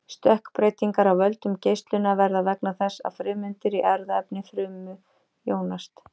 Stökkbreytingar af völdum geislunar verða vegna þess að frumeindir í erfðaefni frumu jónast.